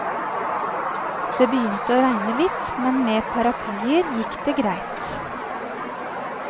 Det begynte å regne litt, men med paraplyer gikk det greit.